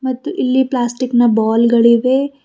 ಮತ್ತು ಇಲ್ಲಿ ಪ್ಲಾಸ್ಟಿಕ್ನ ಬಾಲ್ ಗಳಿವೆ.